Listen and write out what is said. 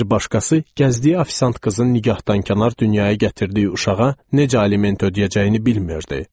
Bir başqası gəzdiyi ofisant qızın nigahdankənar dünyaya gətirdiyi uşağa necə aliment ödəyəcəyini bilmirdi.